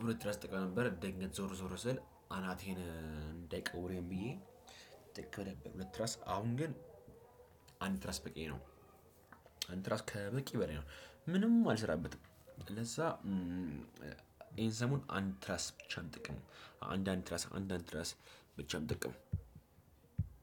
እብረት ትራስ እጠቀም ነበር ደግሞ ዞር ዞር ስል አናቴን እንዳይቀውሬም ብዬ። ጥቅ በደንብ ሁለት ራስ አሁን ግን። አንድ ራስ በቂ ነው። አንድ ራስ ከበቂ በላይ ነው። ምንም አልሰራበትም ለዛ። ይሄን ሰሞን አንድ ትራስፕ ብቻ ጥቅም አንድ አንድ ትራስ አንድ አንድ ትራስ ብቻን ጥቅም